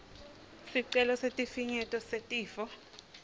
sicelo sesifinyeto setifo